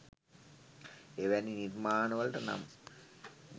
එවැනි නිර්මාණවලට නම්